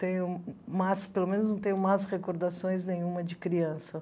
Tenho más pelo menos não tenho más recordações nenhuma de criança.